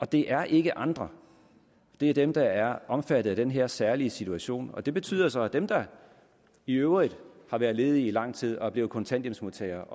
det er ikke andre det er dem der er omfattet af den her særlige situation og det betyder så at dem der i øvrigt har været ledige i lang tid og er blevet kontanthjælpsmodtagere